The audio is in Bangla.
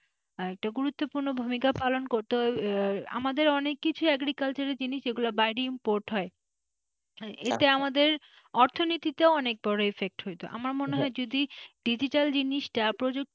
আর এটা গুরুত্বপূর্ণ ভূমিকা পালন করতে আমাদের অনেক কিছু agriculture এর জিনিস বাইরে import হয় এতে আমাদের অর্থনীতিতে ও অনেক বড় effect হইতো যদি ডিজিটাল জিনিসটা প্রযুক্তি,